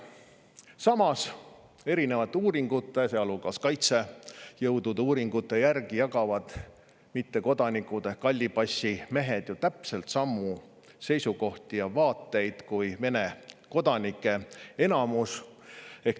Samas, erinevate uuringute, sealhulgas kaitsejõudude uuringute järgi jagavad mittekodanikud ehk hallipassimehed ju täpselt samu seisukohti ja vaateid kui Vene kodanike enamus.